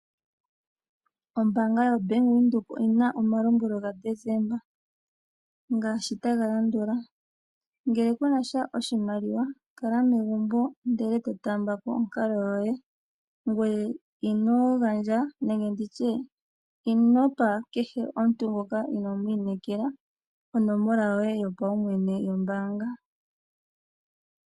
Ombaanga yaVenduka oyina omalombwelo ga Deseemba ngaashi taga landula . Ngele kunasha oshimaliwa kala megumbo ndele to taambako onkalo yoye ngoye inogandja nenge inopa kehe omuntu ngoka inomu inekela onomola yoye yo paumwene yombaanga